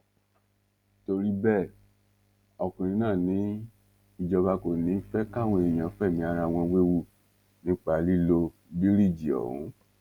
torí bẹẹ ọkùnrin náà ní ìjọba kò ní í fẹ káwọn èèyàn fẹmí ara wọn wewu nípa lílo bíríìjì ọhún